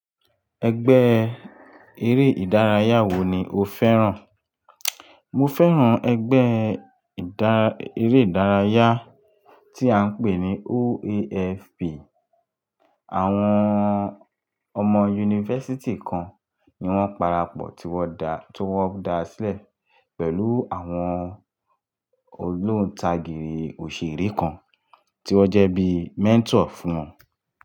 Ẹgbẹ́ eré ìdárayá wo ni o fẹ́ràn? Mo fẹ́ràn ẹgbẹ́ ìdá, eré ìdárayá tí à ń pè ní OAFP. Àwọn ọmọ yunifásítì kan ni wọ́n parapọ̀ tí wọ́n dá, tí wọ́n da sílẹ̀ pẹ̀lú àwọn ogbóntagìrì òṣèré kan tí wọ́n jẹ́ bíi mentor fún wọn.